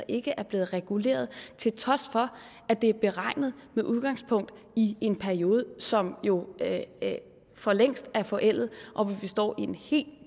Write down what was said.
ikke er blevet reguleret til trods for at det er beregnet med udgangspunkt i en periode som jo for længst er forældet og hvor vi står i en helt